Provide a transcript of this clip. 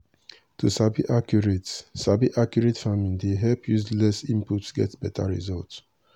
to sabi accurate sabi accurate farming dey help use less input get beta result.